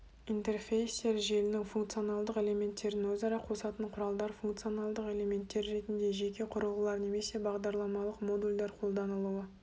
интерфейстер желінің функционалдық элементтерін өзара қосатын құралдар функционалдық элементтер ретінде жеке құрылғылар немесе бағдарламалық модульдер қолданылуы